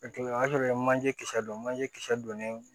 O kɛlen o y'a sɔrɔ ye manje kisɛ don manje kisɛ donnen